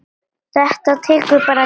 Þetta tekur bara tíma.